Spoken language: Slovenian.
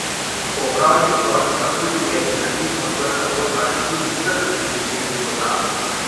Po opravljeni splošni maturi je gimnazijcem odprta pot na študij vseh univerzitetnih programov.